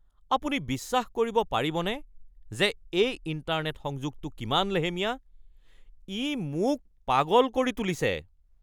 আপুনি বিশ্বাস কৰিব পাৰিবনে যে এই ইণ্টাৰনেট সংযোগটো কিমান লেহেমীয়া? ই মোক পাগল কৰি তুলিছে!